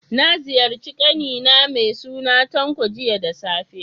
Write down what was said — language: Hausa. Na ziyarci ƙani na mai suna Tanko, jiya da safe.